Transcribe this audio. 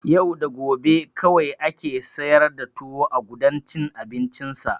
Yau da gobe kawai ake siyar da tuwo a gudan cin abincinsa.